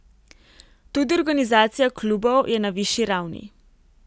Tudi organizacija klubov je na višji ravni.